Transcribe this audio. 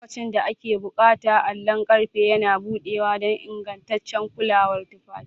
Lokacin da ake buƙata, allon ƙarfe yana buɗewa don ingantaccen kulawar tufafi.